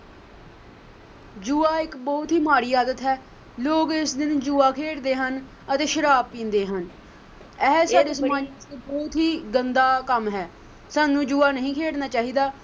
ਜੂਆ ਇੱਕ ਬਹੁਤ ਹੀ ਮਾੜੀ ਆਦਤ ਹੈ ਲੋਕ ਇਸ ਦਿਨ ਜੂਆ ਖੇਡਦੇ ਹਨ ਅਤੇ ਸ਼ਰਾਬ ਪੀਂਦੇ ਹਨ ਐ ਇੱਕ ਬਹੁਤ ਹੀ ਗੰਦਾ ਕੰਮ ਹੈ ਸਾਨੂੰ ਜੂਆ ਨਹੀਂ ਖੇਡਣਾ ਚਾਹੀਦਾ।